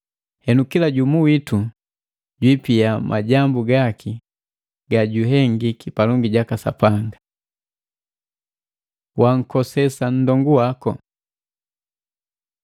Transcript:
Henu, kila jumu witu jwiipia majambu gaki gajuhengiki palongi jaka Sapanga. Wankosesa nndongu waku